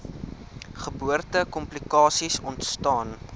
geboorte komplikasies ontstaan